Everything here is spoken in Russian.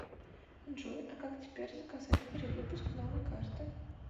джой а как теперь заказать перевыпуск новой карты